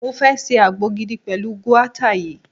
Mo fẹ́ ṣe àgbo gidi pẹ̀lú guata yìí.